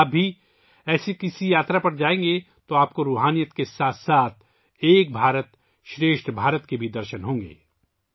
اگر آپ بھی اس طرح کی یاترا پر جائیں گے تو آپ کو روحانیت کے ساتھ ساتھ ایک بھارت شریسٹھ بھارت کے درشن بھی ہوں گے